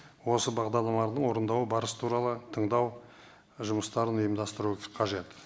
осы бағдарламалардың орындау барысы туралы тыңдау жұмыстарын ұйымдастыру қажет